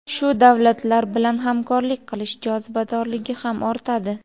shu davlatlar bilan hamkorlik qilish jozibadorligi ham ortadi.